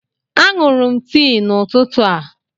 A ṅụrụ m tii n'ụtụtụ a.